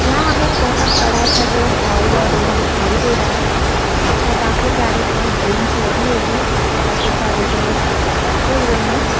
यहाँ हमें एक बहुत बड़ा सा जो हैं हॉल या रूम दिखाई दे रहा है इसमें काफी सारी जो है बैंच लगी हुई है इसपे काफी सारे जो हैं बच्चे बैठे हुए हैं।